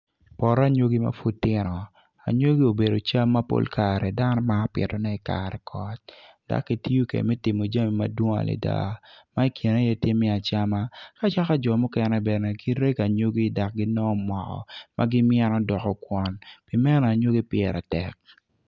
Poto anyogi ma pud gitino anyogi obedo cam ma pol kare dano maro pitone i i kare kot dok kitiyo kwede me timo jami madwong adada ma ikine iye tye me acama ka yaka jo mukene bene girego anyogi dok ginongo moko ma gimyeno doko kwon pi meno anyogi pire tek.